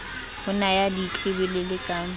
ho na ya ditlwebelele ka